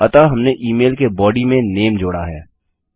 अतः हमने email के बॉडी में नेम जोड़ा है